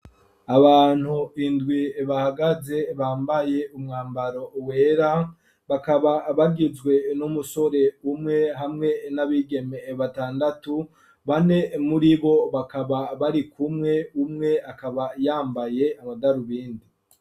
Abantu indwi bahagaze bambaye umwambaro wera, bakaba bagizwe n'umusore umwe hamwe n'abigeme batandatu, bane muribo bakaba barikumwe, umwe akaba yambaye amadarubindi.